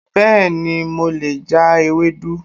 Bẹ́ẹ̀ ni, mo lè ja Ewedu